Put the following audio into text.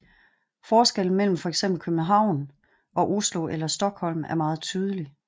Forskellen mellem fx København og Oslo eller Stockholm er meget tydelig